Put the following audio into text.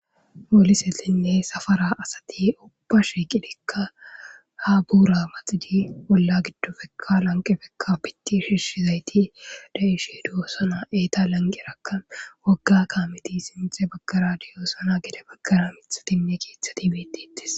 polisetinne safara asati ubba shiqilekka ha buura maxidi olla giddopekka lanqepekka piti shiishizayti de'ishe dosana eeta lanqerakka wogga kaameti sinthe baggara deyoosana gede baggara mithatinne keeththati betetis